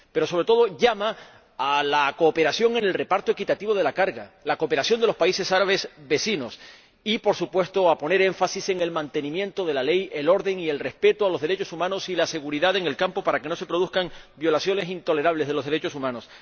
Pero, sobre todo, llama a la cooperación en el reparto equitativo de la carga, la cooperación de los países árabes vecinos y, por supuesto, a poner énfasis en el mantenimiento de la ley, el orden y el respeto de los derechos humanos y en la seguridad en el campo de refugiados, para que no se produzcan violaciones intolerables de los derechos humanos.